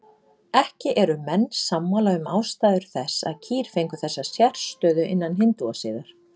Ekki eru menn sammála um ástæður þess að kýr fengu þessa sérstöðu innan hindúasiðar.